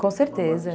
Com certeza.